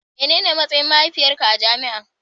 Menene matsayin mahaifiyarka a jami'an.